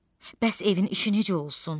Bəs evin işi necə olsun?